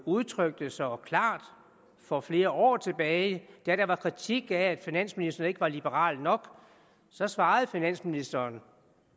udtrykte så klart for flere år tilbage da der var kritik af at finansministeren ikke var liberal nok så svarede finansministeren